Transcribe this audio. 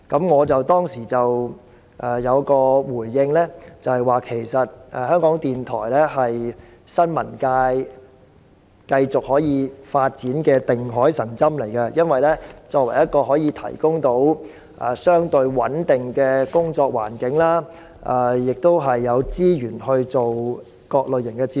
我當時回應指出，其實港台是新聞界得以繼續發展的"定海神針"，因港台作為一個公營機構，可以提供相對穩定的工作環境，並有資源製作各類型節目。